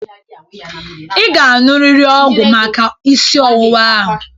Ị ga-aṅụrịrị ọgwụ maka isi ọwuwa a.